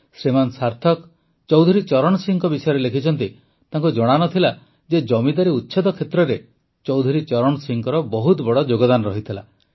ଶ୍ରୀମାନ ସାର୍ଥକ ଚୌଧୁରୀ ଚରଣ ସିଂହଙ୍କ ବିଷୟରେ ଲେଖିଛନ୍ତି ତାଙ୍କୁ ଜଣାନଥିଲା ଯେ ଜମିଦାରୀ ଉଚ୍ଛେଦ କ୍ଷେତ୍ରରେ ଚୌଧୁରୀ ଚରଣ ସିଂହଙ୍କର ବହୁତ ବଡ଼ ଯୋଗଦାନ ରହିଥିଲା